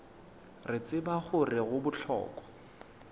re tseba gore go bohlokwa